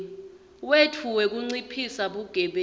wetfu wekunciphisa bugebengu